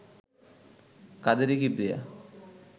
Kaderi Kibria